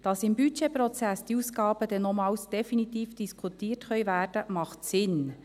Dass im Budgetprozess diese Ausgaben noch einmal definitiv diskutiert werden können, macht Sinn.